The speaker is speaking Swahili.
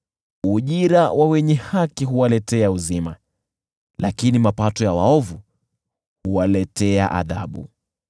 Ujira wa wenye haki huwaletea uzima, lakini mapato ya waovu huwaletea adhabu.